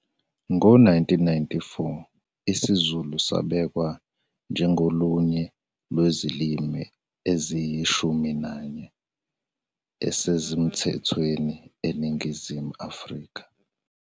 Ngo 1994 isiZulu sabekwa njengolunye lwezilimu eziyishumi nanye, 11, ezisemthethweni eNingizimu Afrika.